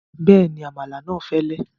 Bẹ́ẹ̀ni, àmàlà náà fẹ́lẹ́